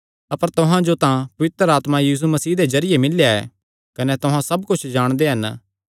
अपर तुहां जो तां पवित्र आत्मा यीशु मसीह दे जरिये मिल्लेया ऐ कने तुहां सब कुच्छ जाणदे हन